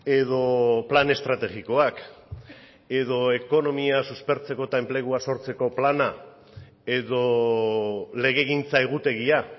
edo plan estrategikoak edo ekonomia suspertzeko eta enplegua sortzeko plana edo legegintza egutegia